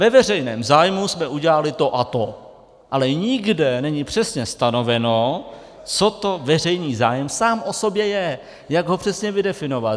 Ve veřejném zájmu jsme udělali to a to, ale nikde není přesně stanoveno, co to veřejný zájem sám o sobě je, jak ho přesně vydefinovat.